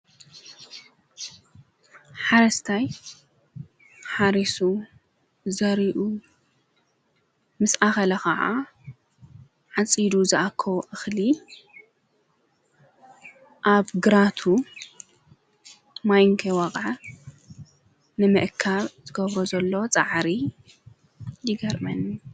ሓረስታይ ሓሪሱ ዘሪኡ ምስ ኣኸለ ኸዓ ዓጺዱ ዝኣኮቦ እኽሊ ኣብ ግራቱ ማይ ከይወቀዐ ነምእካብ ዝገብሮ ዘሎ ፃዓሪ ይገርመኒ።